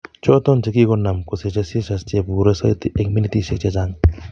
Choton chekikonam kosiche seizures cheburee soiti eng' minitisiek chechang'